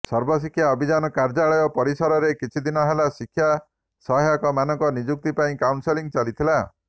ସର୍ବଶିକ୍ଷା ଅଭିଯାନ କାର୍ଯ୍ୟାଳୟ ପରିସରରେ କିଛି ଦିନ ହେଲା ଶିକ୍ଷା ସହାୟକ ମାନଙ୍କ ନିଯୁକ୍ତି ପାଇଁ କାଉନସେଲିଂ ଚାଲିଥିଲା